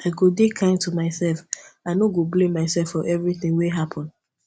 i go dey kind to myself i no go blame myself for everytin wey happen